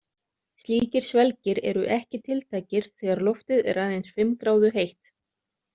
Slíkir svelgir eru ekki tiltækir þegar loftið er aðeins fimm gráðu heitt.